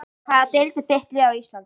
Í hvaða deild er þitt lið á Íslandi?